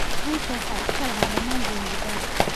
Guusha waxaa iska lahaa dhammaan Zanzibari.